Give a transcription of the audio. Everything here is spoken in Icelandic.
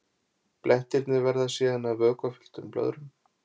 Blettirnir verða síðan að vökvafylltum blöðrum.